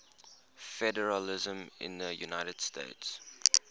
federalism in the united states